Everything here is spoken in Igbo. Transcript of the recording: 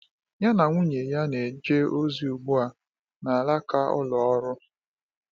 Ya na nwunye ya na-eje ozi ugbu a n’alaka ụlọ ọrụ